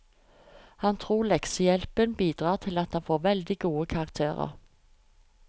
Han tror leksehjelpen bidrar til at han får veldig gode karakterer.